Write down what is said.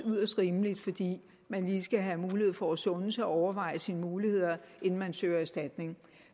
yderst rimeligt fordi man lige skal have mulighed for at sunde sig og overveje sine muligheder inden man søger erstatning